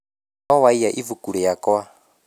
No waiya ibuku riakwa